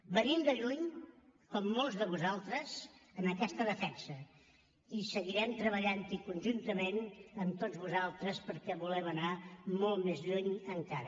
venim de lluny com molts de vosaltres en aquesta defensa i seguirem treballant hi conjuntament amb tots vosaltres perquè volem anar molt més lluny encara